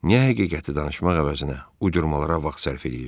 Niyə həqiqəti danışmaq əvəzinə uydurmalara vaxt sərf eləyirsiz?